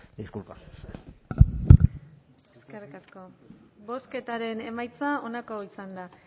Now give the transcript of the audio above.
disculpa eskerrik asko bozketaren emaitza onako izan da